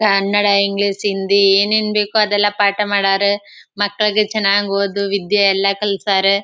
Kannada English Hindi ಏನ್ ಏನ್ ಬೇಕೋ ಅದೆಲ್ಲ ಪಾಠ ಮಾಡ್ಯಾರ ಮಕ್ಕಳ್ಗೆ ಚನಾಗ್ ಓದೋ ವಿದ್ಯೆ ಎಲ್ಲ ಕಲ್ಸಾರ್.